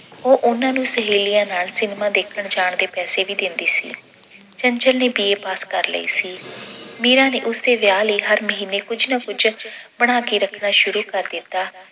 ਉਹ ਉਹਨਾਂ ਨੂੰ ਸਹੇਲੀਆਂ ਨਾਲ cinema ਦੇਖਣ ਜਾਣ ਦੇ ਪੈਸੇ ਵੀ ਦਿੰਦੀ ਸੀ। ਚੰਚਲ ਨੇ B. A. ਪਾਸ ਕਰ ਲਈ ਸੀ ਮੀਰਾ ਨੇ ਉਸਦੇ ਵਿਆਹ ਲਈ ਹਰ ਮਹੀਨੇ ਕੁੱਝ ਨਾ ਕੁੱਝ ਬਣਾ ਕੇ ਰੱਖਣਾ ਸ਼ੁਰੂ ਕਰ ਦਿੱਤਾ।